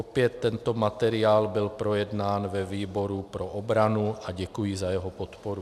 Opět tento materiál byl projednán ve výboru pro obranu a děkuji za jeho podporu.